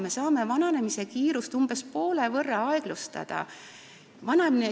Me saame vananemise kiirust umbes poole võrra aeglustada.